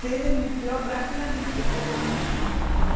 Se demitiu rapidamente, mas também começou a trabalhar.